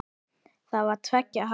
Það var tveggja hæða.